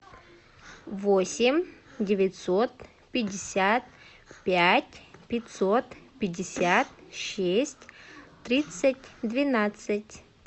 восемь девятьсот пятьдесят пять пятьсот пятьдесят шесть тридцать двенадцать